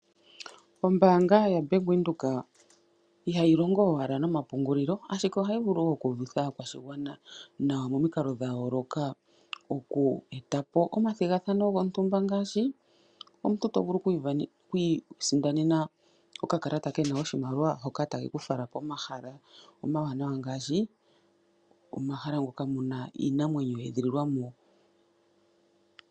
Ombaanga yoBank Windhoek, ihayi longo owala nomapungulilo ashike ohayi vulu wo oku uvitha aakwashigwana nawa, momikalo dhayooloka oku etapo omathigathano gontumba ngaashi, omuntu tovulu okwi isindanena okakalata kena oshimaliwa hoka takeku fala pomahala omawanawa ngaashi, omahala moka muna iinamwenyo ye edhililwa mo.